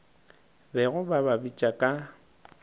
bego ba ba bitša ka